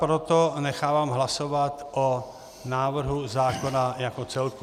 Proto nechávám hlasovat o návrhu zákona jako celku.